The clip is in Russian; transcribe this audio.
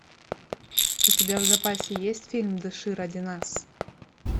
у тебя в запасе есть фильм дыши ради нас